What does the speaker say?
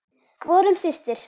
Vorum systur.